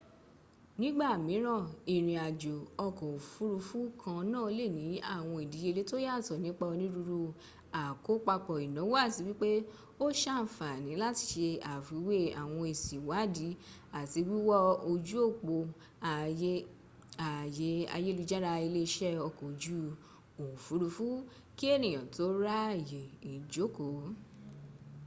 nígbà míràn ìrìn-ajò ọkọ̀ òfuurufú kan náà lè ní àwọn ìdíyẹlẹ́ tó yàtọ̀ nípa onírúurú àkópapọ ìnáwó àti wípẹ́ o sànfàní láti se àfiwé àwọn èsì ìwádìí àti wíwọ ojú òpó ààyè ayélujára ilé iṣẹ́ ọkọ̀ ojú òfúrufú kí ènìyà tó ra ààyè ìjókòó